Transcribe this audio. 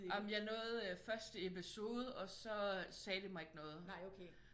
Jamen jeg nåede første episode og så sagde det mig ikke noget